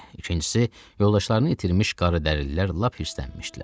İkincisi, yoldaşlarını itirmiş qaradərililər lap hirslənmişdilər.